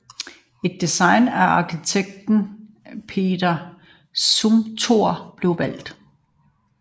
Et design af arkitekt Peter Zumthor blev valgt